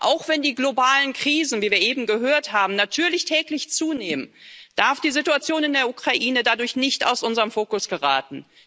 Auch wenn die globalen Krisen wie wir eben gehört haben natürlich täglich zunehmen, darf die Situation in der Ukraine dadurch nicht aus unserem Fokus geraten.